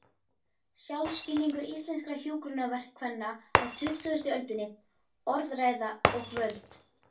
Sjálfsskilningur íslenskra hjúkrunarkvenna á tuttugustu öldinni: Orðræða og völd.